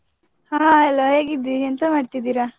Hai hello ಹೇಗಿದ್ದಿ, ಎಂತ ಮಾಡ್ತಿದ್ದೀರಾ?